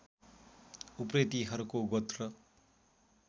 उप्रेतीहरूको गोत्र